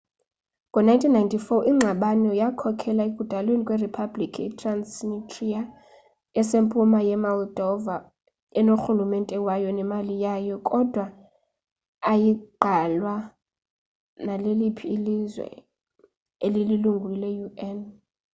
ngo 1994 ingxabano yakhokhela ekudalweni kwe republiki i-transnistria esempuma ye-moldova enorhulumente wayo nemali yayo kodwa ayigqalwa naleliphi na ilizwe elililungu le un